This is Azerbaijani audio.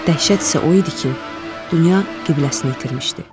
Dəhşət isə o idi ki, dünya qibləsini itirmişdi.